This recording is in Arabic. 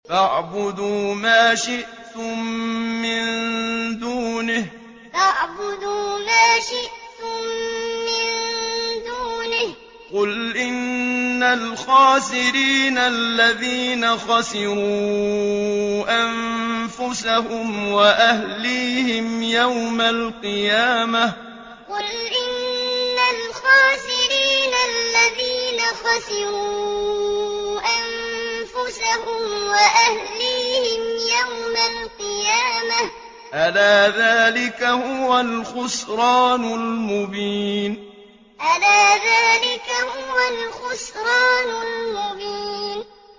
فَاعْبُدُوا مَا شِئْتُم مِّن دُونِهِ ۗ قُلْ إِنَّ الْخَاسِرِينَ الَّذِينَ خَسِرُوا أَنفُسَهُمْ وَأَهْلِيهِمْ يَوْمَ الْقِيَامَةِ ۗ أَلَا ذَٰلِكَ هُوَ الْخُسْرَانُ الْمُبِينُ فَاعْبُدُوا مَا شِئْتُم مِّن دُونِهِ ۗ قُلْ إِنَّ الْخَاسِرِينَ الَّذِينَ خَسِرُوا أَنفُسَهُمْ وَأَهْلِيهِمْ يَوْمَ الْقِيَامَةِ ۗ أَلَا ذَٰلِكَ هُوَ الْخُسْرَانُ الْمُبِينُ